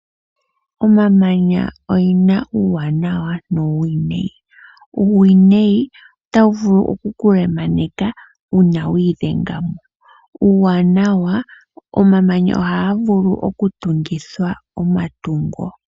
Omamanya ogena uuwanawa nuuwinayi. Uuwinayi, otaga vulu oku ku lemaneka uuna wiidhenga mugo. Uuwanawa, ohaga vulu okutungithwa omatungo.